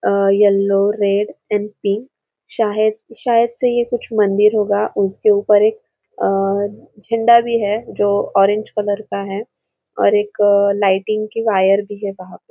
A yellow red and pink शायज शायद ये कुछ मंदिर होगा उसके ऊपर एक झंडा भी है जो ऑरेंज कलर का है और एक लाइटिंग की वायर भी है वहा पे।